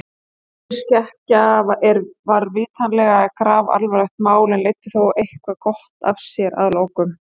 Þessi skekkja var vitanlega grafalvarlegt mál en leiddi þó eitthvað gott af sér að lokum.